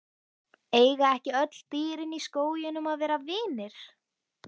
Eiga ekki öll dýrin í skóginum að vera vinir?